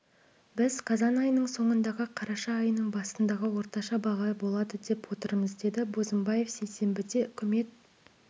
біз қазан айының соңындағы қараша айының басындағы орташа баға болады деп отырмыз деді бозымбаев сейсенбіде үкімет